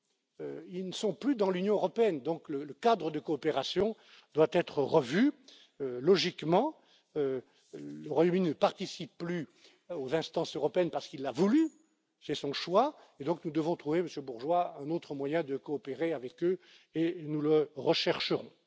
Les Britanniques ne sont plus dans l'Union européenne, donc le cadre de coopération doit être revu, logiquement. Le Royaume Uni ne participe plus aux instances européennes parce qu'il l'a voulu, c'est son choix, et donc nous devons trouver, Monsieur Bourgeois, un autre moyen de coopérer avec eux et nous le rechercherons.